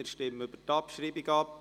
Wir stimmen über die Abschreibung ab.